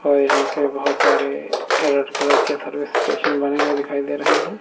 और यहां पे बहोत सारे रेड कलर के सर्विस स्टेशन बने हुए दिखाई दे रहे हैं।